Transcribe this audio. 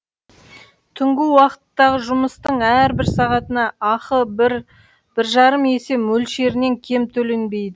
түнгі уақыттағы жұмыстың әрбір сағатына ақы бір бір жарым есе мөлшерінен кем төленбейді